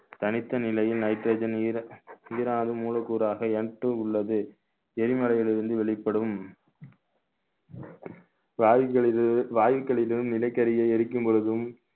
தனித்த நிலையில் nitrogen மூலக்கூறாக Mtwo உள்ளது எரிமலையில் இருந்து வெளிப்படும் வாயுகளிலு~ வாயுகளிலும் நிலக்கரியை எரிக்கும் போதும்